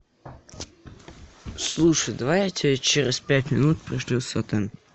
слушай давай я тебе через пять минут пришлю сотэн